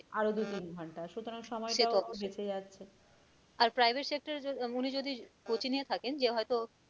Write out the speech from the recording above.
আরও দু-তিন ঘন্টা সুতরাং সময়টাও সে তো বাঁচে যাচ্ছে আর private sector এ আহ উনি যদি coaching এ থাকেন যে হয়তো